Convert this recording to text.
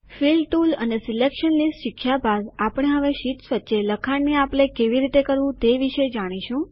fill tool અને selection list શીખ્યા બાદ આપણે હવે શીટ્સ વચ્ચે લખાણ કેવી રીતે શેર કરવું તે વિશે જાણીશું